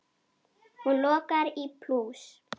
Hún lokar í plús.